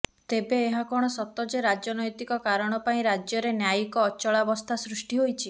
ତେବେ ଏହା କଣ ସତ ଯେ ରାଜନୈତିକ କାରଣ ପାଇଁ ରାଜ୍ୟରେ ନ୍ୟାୟିକ ଅଚଳାବସ୍ଥା ସୃଷ୍ଟି ହୋଇଛି